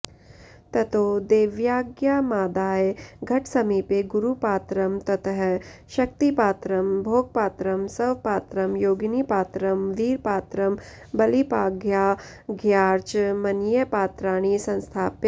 ततो देव्याज्ञामादाय घटसमीपे गुरुपात्रं ततः शक्तिपात्रं भोगपात्रं स्वपात्रं योगिनीपात्रं वीरपात्रं बलिपाद्यार्घ्याचमनीयपात्राणि संस्थाप्य